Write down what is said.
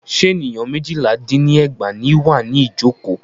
Ṣé ènìyàn méjìlá dín ní ẹgbàá ní wà ní ìjọ̀kọ́?